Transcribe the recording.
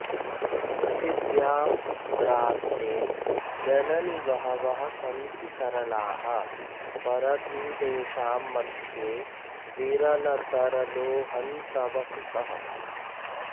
पृथिव्याम्पुत्रास्ते जननि बहवः सन्ति सरलाः परन्तेषाम्मध्ये विरलतरलोहन्तव सुतः